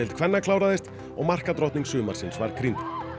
kvenna kláraðist og markadrottning sumarsins krýnd